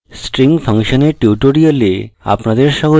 string ফাংশনের tutorial আপনাদের স্বাগত